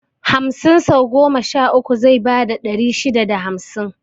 Hamsin sau goma sha uku zai bada ɗari shida da hamsin